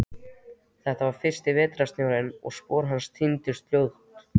Þetta var fyrsti vetrarsnjórinn og spor hans týndust fljótt.